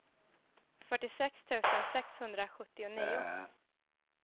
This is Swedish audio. fyrtiosex tusen sexhundrasjuttionio